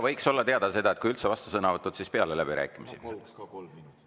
Võiks olla teada, et kui üldse vastusõnavõtud, siis peale läbirääkimisi.